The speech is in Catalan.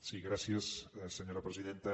sí gràcies senyora presidenta